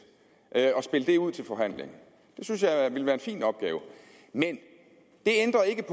og spille det ud til forhandling det synes jeg ville være en fin opgave men det ændrer ikke